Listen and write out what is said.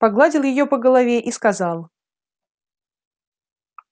погладил её по голове и сказал